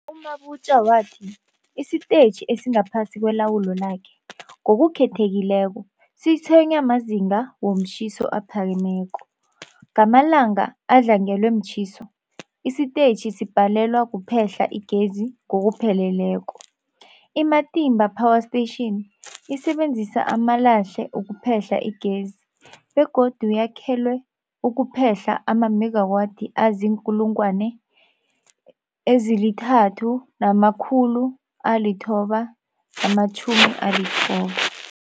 U-Mabotja wathi isitetjhi esingaphasi kwelawulo lakhe, ngokukhethekileko, sitshwenywa mazinga womtjhiso aphakemeko. Ngamalanga adlangelwe mtjhiso, isitetjhi sibhalelwa kuphehla igezi ngokupheleleko. I-Matimba Power Station isebenzisa amalahle ukuphehla igezi begodu yakhelwe ukuphehla amamegawathi azii-3990